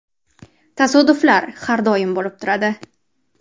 Tasodiflar har doim bo‘lib turadi.